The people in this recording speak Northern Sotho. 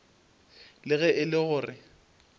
le ge e le gore